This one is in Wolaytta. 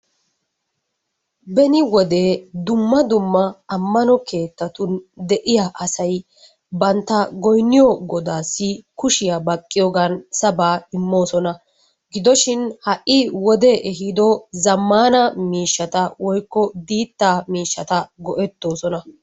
Beni wode dumma dumma amanno keettatun de'iya asay banta goynniy godaassi kushiya baqqiyoogan sabaa imoosona. gidoshin ha'i wodee ehiido zamaana miishshata woykko diitaa miishata go'etoosona.